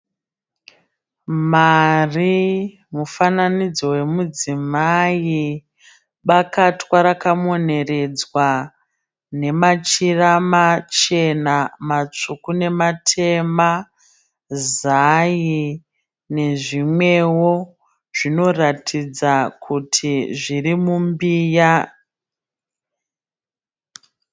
Mari, mufananidzo wemudzimai, bakatwa rakamoneredzwa nemachira machena, matsvuku, nematema, zai nezvimwewo zvinoratidza kuti zviri mumbiya.